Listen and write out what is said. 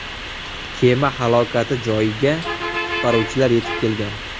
Kema halokati joyiga qutqaruvchilar yetib kelgan.